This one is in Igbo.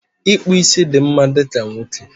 Ịkpụ ísí dị mma dịka nwoke